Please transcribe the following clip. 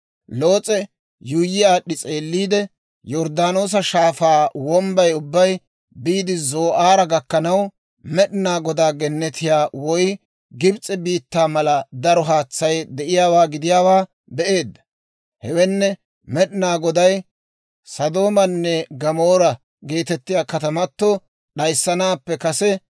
Loos'e yuuyyi aad'd'i s'eelliide, Yorddaanoosa Shaafaa wombbay ubbay biide Zoo'aara gakkanaw, Med'inaa Godaa gennetiyaa woy Gibis'e biittaa mala daro haatsay de'iyaawaa gidiyaawaa be'eedda. (Hewenne Med'ina Goday Sodoomanne Gamoora geetettiyaa katamato d'ayissanaappe kase).